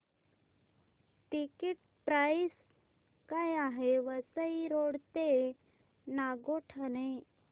ticket price काय आहे Vasai road ते नागोठणे